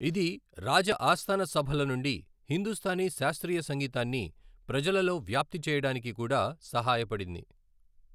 ఇది రాజ ఆస్థానసభల నుండి హిందుస్తానీ శాస్త్రీయ సంగీతాన్ని ప్రజలలో వ్యాప్తి చేయడానికి కూడా సహాయపడింది.